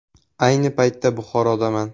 Ayni paytda Buxorodaman.